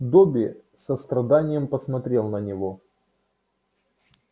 добби с состраданием посмотрел на него